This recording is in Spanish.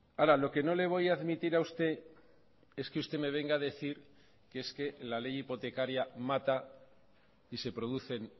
ahora lo que no le voy a admitir a usted es que usted me venga a decir que es que la ley hipotecaria mata y se producen